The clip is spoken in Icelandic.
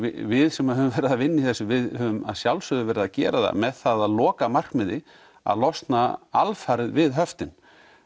við sem höfum verið að vinna í þessu við höfum að sjálfsögðu verið að gera það með að lokamarkmiði að losna alfarið við höftin